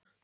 Birna